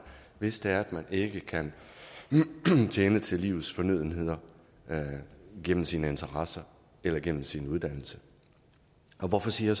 hvis det er at man ikke kan tjene til livets fornødenheder gennem sine interesser eller gennem sin uddannelse hvorfor siger